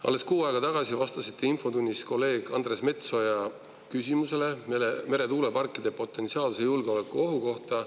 Alles kuu aega tagasi vastasite infotunnis kolleeg Andres Metsoja küsimusele meretuuleparkide potentsiaalse julgeolekuohu kohta.